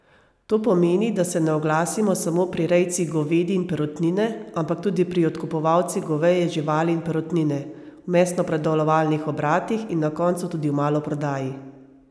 To pomeni, da se ne oglasimo samo pri rejcih govedi in perutnine, ampak tudi pri odkupovalcih govejih živali in perutnine, v mesnopredelovalnih obratih in na koncu tudi v maloprodaji!